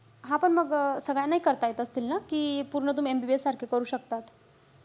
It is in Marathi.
हा पण मग, सगळ्या नाही करता येत असतील ना? कि पूर्ण तुम्ही MBBS सारखे करू शकतात?